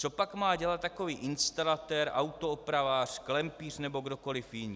Co pak má dělat takový instalatér, autoopravář, klempíř nebo kdokoli jiný?